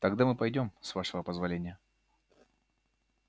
тогда мы пойдём с вашего позволения